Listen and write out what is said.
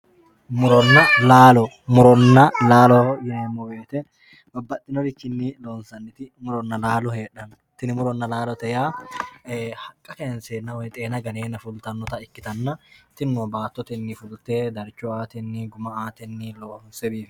muronna laalo muronna laalo yineemmorichi babbaxitinnorichi loonsayti heedhanno tini muronna laalote yaa haqqa kaynseenna woy xeena ganeenna fultannota ikkitann tino baattotenni fulte darcho aateni guma aatenni loonse